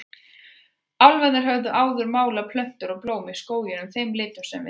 Álfarnir höfðu áður málað plönturnar og blómin í skóginum þeim litum sem við þekkjum.